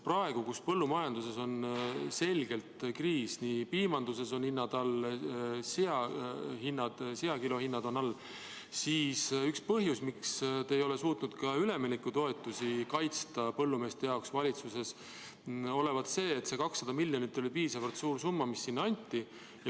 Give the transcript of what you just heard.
Praegu, kui põllumajanduses on selgelt kriis – piimanduses on hinnad all ja ka sealiha kilohinnad on all –, siis üks põhjus, miks te ei ole suutnud üleminekutoetusi kaitsta põllumeeste jaoks valitsuses, olevat see, et see 200 miljonit, mis sinna anti, ei ole piisavalt suur summa.